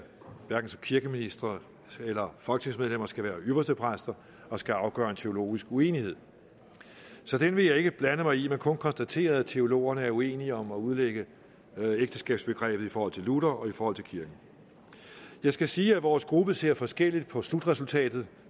kirkeministeren eller folketingsmedlemmer skal være ypperstepræster og skal afgøre en teologisk uenighed så den vil jeg ikke blande mig i men kun konstatere at teologerne er uenige om at udlægge ægteskabsbegrebet i forhold til luther og i forhold til kirken jeg skal sige at vores gruppe ser forskelligt på slutresultatet